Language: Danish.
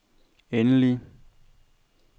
endelige